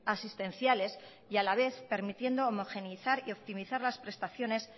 asistenciales y a la vez permitiendo homogeneizar y optimizar las prestaciones